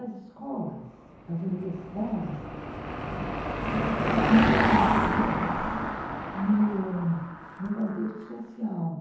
As escolas, as universidades, elas estão muito inseridas no contexto social,